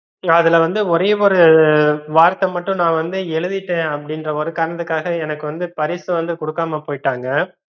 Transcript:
அதுலவந்து ஒரே ஒரு வாரத்தை மட்டும் நா வந்து எழுதிட்டேன் அப்படின்ற ஒரு காரணத்துக்காக எனக்கு வந்து பரிசு வந்து குடுக்கமா போய்ட்டாங்க